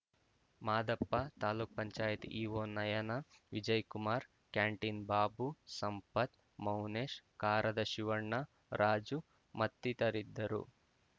Madappa taluk panchayat EO Nayana Vijay Kumar canteen Babu Sampath Mounesh ಕಾರದ ಶಿವಣ್ಣ ರಾಜು ಮತ್ತಿತರಿದ್ದರು